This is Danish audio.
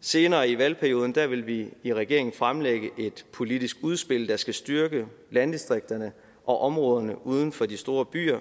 senere i valgperioden vil vi i regeringen fremlægge et politisk udspil der skal styrke landdistrikterne og områderne uden for de store byer